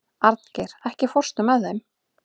Arngeir, ekki fórstu með þeim?